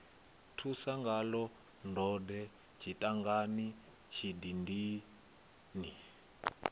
ṱusa ngaḽo ndode tshidangani tshidindini